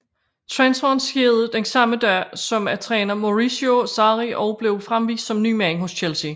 Transferen skete den samme dag som at træner Maurizio Sarri også blev fremvist som ny mand hos Chelsea